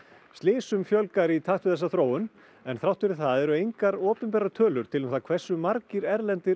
slysum fjölgar í takt við þessa þróun en þrátt fyrir það eru engar opinberar tölur til um það hversu margir erlendir